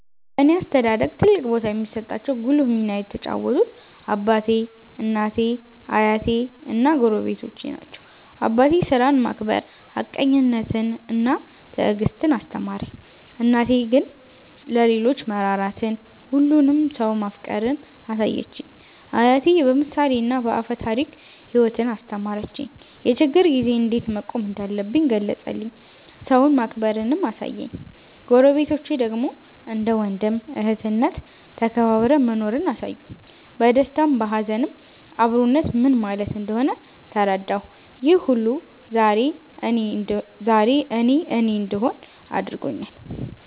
በእኔ አስተዳደግ ትልቅ ቦታ የሚሰጣቸው ጉልህ ሚና የተጫወቱት አባቴ፣ እናቴ፣ አያቴ እና ጎረቤቶቼ ናቸው። አባቴ ሥራን ማክበር፣ ሀቀኝነትን እና ትዕግስትን አስተማረኝ። እናቴ ግን ለሌሎች መራራትን፣ ሁሉንም ሰው ማፍቀርን አሳየችኝ። አያቴ በምሳሌና በአፈ ታሪክ ሕይወትን አስተማረኝ፤ የችግር ጊዜ እንዴት መቆም እንዳለብኝ ገለጸልኝ፤ ሰውን ማክበርንም አሳየኝ። ጎረቤቶቼ ደግሞ እንደ ወንድም እህትነት ተከባብረን መኖርን አሳዩኝ፤ በደስታም በሀዘንም አብሮነት ምን ማለት እንደሆነ ተረዳሁ። ይህ ሁሉ ዛሬ እኔ እኔ እንድሆን አድርጎኛል።